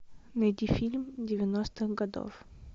найди фильм девяностых годов